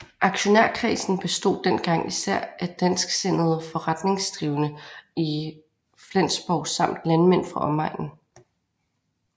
Aktionærskredsen bestod dengang især af dansksindede forretningsdrivende i Flensborg samt landmænd fra omegnen